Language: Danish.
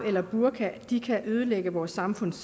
eller burka kan ødelægge vores samfunds